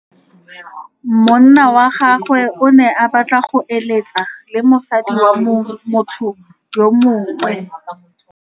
Monna wa gagwe o ne a batla go êlêtsa le mosadi wa motho yo mongwe.